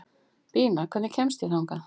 Bína, hvernig kemst ég þangað?